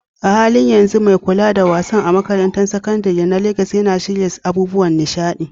A halin yanzu, mai kula da wasan a makarantar sakandare ta Legas yana shirya abubuwan nishaɗi.